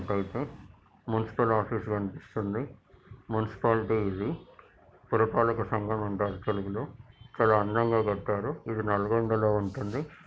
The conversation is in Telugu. అయితే మునిసిపల్ ఆఫీస్ కనిపిస్తుంది. మున్సిపాలిటీ ఇది పురపాలక సంఘం అంటారు తెలుగులో చాలా అందంగా కట్టారు ఇది నల్గొండ లో ఉంటుంది.